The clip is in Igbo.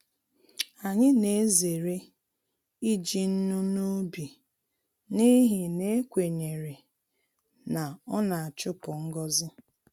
Anyị na-ezere iji nnu n’ubi n’ihi na ekwenyere na ọ na-achupu ngọzi.